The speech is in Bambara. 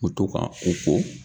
N mu to ka u ko.